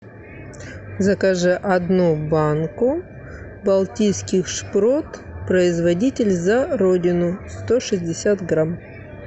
закажи одну банку балтийских шпрот производитель за родину сто шестьдесят грамм